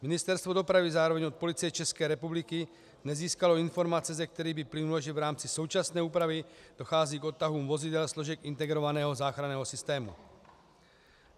Ministerstvo dopravy zároveň od Policie České republiky nezískalo informace, ze kterých by plynulo, že v rámci současné úpravy dochází k odtahům vozidel složek integrovaného záchranného systému.